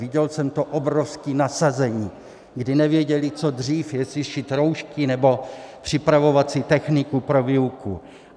Viděl jsem to obrovské nasazení, kdy nevěděly co dřív, jestli šít roušky nebo připravovat si techniku pro výuku.